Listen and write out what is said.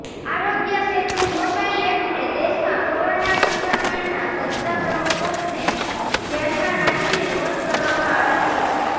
આરોગ્ય સેતુ મોબાઇલ એપને દેશમાં કોરોના સંક્રમણના વધતા પ્રકોપને ધ્યાનમાં રાખીને લોંચ કરવામાં આવી છે